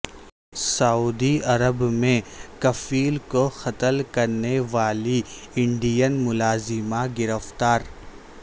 سعودی عرب میں کفیل کو قتل کرنے والی انڈین ملازمہ گرفتار